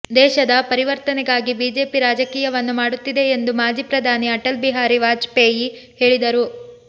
ದೇಶದ ಪರಿವರ್ತನೆಗಾಗಿ ಬಿಜೆಪಿ ರಾಜಕೀಯವನ್ನು ಮಾಡುತ್ತಿದೆ ಎಂದು ಮಾಜಿ ಪ್ರಧಾನಿ ಅಟಲ್ ಬಿಹಾರಿ ವಾಜಪೇಯಿ ಹೇಳಿದರು